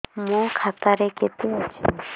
ମୋ ଖାତା ରେ କେତେ ଅଛି